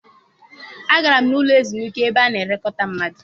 Agara m n'ụlọ ezumike ebe a na-elekọta mmadụ.